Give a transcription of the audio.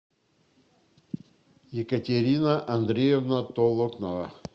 екатерина андреевна толокнова